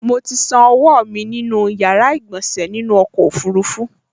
Mo ti ṣan ọwọ́ mi nù ní yàrá ìgbọ̀sẹ̀ nínú ọkọ̀ ọfurufú